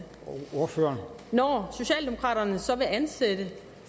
når socialdemokraterne så vil ansætte